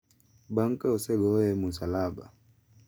bang’ ka osegoye e musalaba.